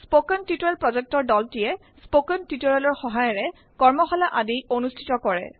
কথন শিক্ষণ প্ৰকল্পৰ দলটিয়ে160 শিক্ষণ সহায়িকাৰে কৰ্মশালা আদি অনুষ্ঠিত কৰে